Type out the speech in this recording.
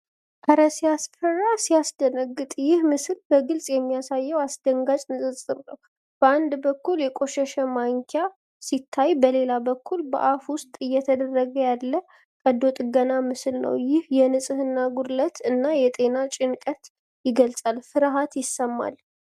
"ኧረ ሲያስፈራ! ሲያስደነግጥ!" ይህ ምስል በግልጽ የሚያሳየው አስደንጋጭ ንጽጽር ነው። በአንድ በኩል የቆሸሸ ማንኪያ ሲታይ፣ በሌላ በኩል በአፍ ውስጥ እየተደረገ ያለ ቀዶ ጥገና ምስል አለ። ይህ የንጽህና ጉድለትን እና የጤና ጭንቀትን ይገልጻል። ፍርሃት ይሰማል።